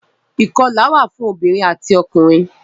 Ìkọlà wà fún obìrin ati ọkùnrin.